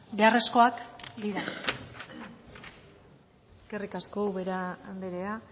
beharrezkoak dira eskerrik asko ubera andrea